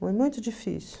Foi muito difícil.